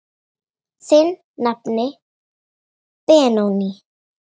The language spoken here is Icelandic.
Þinn nafni Benóný.